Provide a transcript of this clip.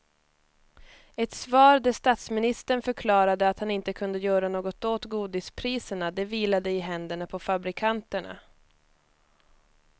Ett svar där statsministern förklarade att han inte kunde göra något åt godispriserna, det vilade i händerna på fabrikanterna.